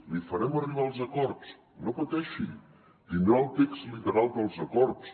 li farem arribar els acords no pateixi tindrà el text literal dels acords